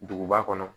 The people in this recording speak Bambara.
Duguba kɔnɔ